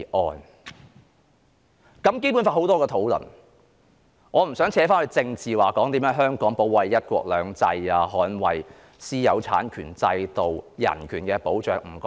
他對《基本法》有很多論述，我不想扯上政治，談甚麼香港如何保衞"一國兩制"、捍衞私有產權制度及人權，我不談這些。